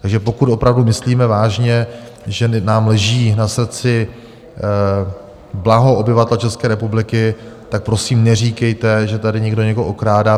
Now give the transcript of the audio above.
Takže pokud opravdu myslíme vážně, že nám leží na srdci blaho obyvatel České republiky, tak prosím neříkejte, že tady někdo někoho okrádá.